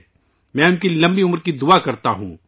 میں ان کی لمبی عمر کی دعا کرتا ہوں